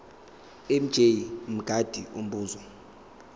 mj mngadi umbuzo